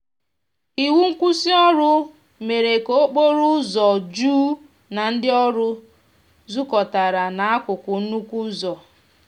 iwụ nkwụsì ọrụ mere ka okporo ụzọ ju na ndi ọrụ zukotara na akụkụ nnukwu ụzọ.